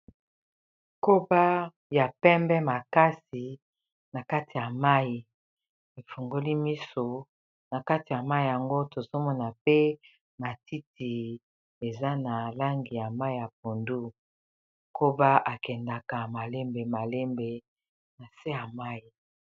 koba ya pembe makasi na kati ya mai efungoli miso na kati ya mai yango tozomona pe matiti eza na langi ya mai ya pondu koba akendaka malembe malembe na se ya mai